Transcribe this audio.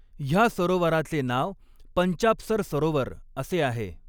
ह्या सरोवराचे नाव पंचाप्सर सरोवर असे आहे.